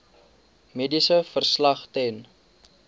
mediese verslag ten